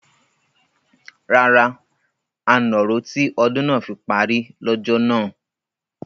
Rárá, a nà ró tí ọdún náà fi parí lọ́jọ́ náà.